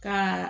Ka